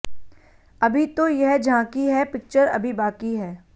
अभी तो यह झांकी है पिक्चर अभी बाकी है